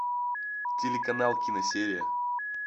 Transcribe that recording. телеканал киносерия